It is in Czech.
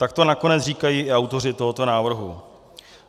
Tak to nakonec říkají i autoři tohoto návrhu.